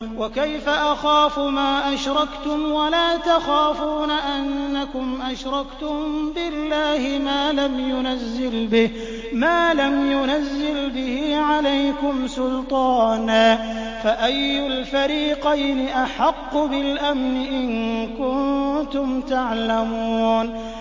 وَكَيْفَ أَخَافُ مَا أَشْرَكْتُمْ وَلَا تَخَافُونَ أَنَّكُمْ أَشْرَكْتُم بِاللَّهِ مَا لَمْ يُنَزِّلْ بِهِ عَلَيْكُمْ سُلْطَانًا ۚ فَأَيُّ الْفَرِيقَيْنِ أَحَقُّ بِالْأَمْنِ ۖ إِن كُنتُمْ تَعْلَمُونَ